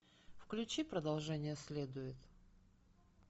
включи продолжение следует